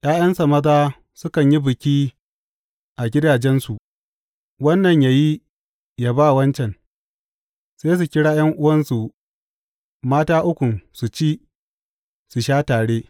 ’Ya’yansa maza sukan yi biki a gidajensu, wannan yă yi yă ba wancan, sai su kira ’yan’uwansu mata ukun su ci, su sha tare.